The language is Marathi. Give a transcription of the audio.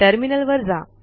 टर्मिनल वर जा